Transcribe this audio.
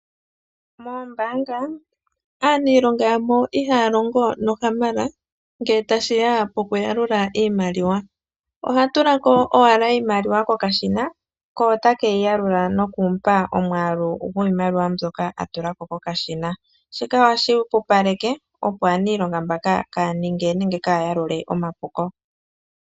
Moombanga aaniilonga ya mo ihaya longo nohamala ngele tashi ya pokuyalula iimaliwa. Oha tula ko owala iimaliwa kokashina ko ota ke yi yalula nokumu pa omwaalu gwiimaliwa mbyoka a tula ko kokashina ,shika ohashi pupaleke, opo aaniilonga mbano kaa ya ninge nenge kaaya yalule omapuko.